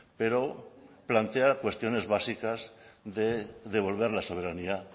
pero plantea cuestiones básicas de devolver la soberanía